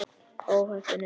Ó heppin er ég.